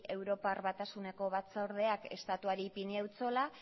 europar batasuneko batzordeak estatuari ipini eutsola